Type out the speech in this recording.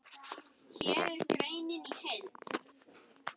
apríl man ég enn.